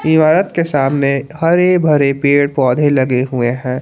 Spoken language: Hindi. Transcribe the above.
इमारत के सामने हरे भरे पेड़ पौधे लगे हुए हैं।